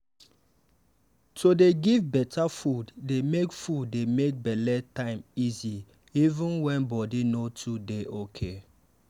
to dey give better food dey make food dey make belle time easy even when body no too dey okay.